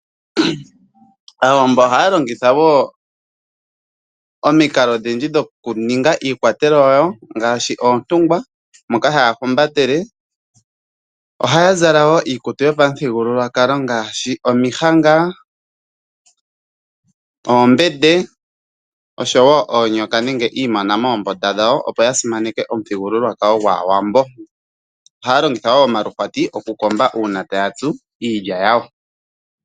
Aawambo oha ya longitha woo omikalo odhindji dho ku ninga iikwatelwa ya wo ngaashi oontungwa moka ha ya humbatele, oha ya zala wo iikutu yopamuthigululwakalo ngaashi omihanga, oombende, oshowo oonyoka nenge iimona moombunda dha wo opo yasimaneke omuthigululwakalo gwaawambo. Oha ya longitha woo omaluhwati oku komba uuna ta ya tsu iilya yawo.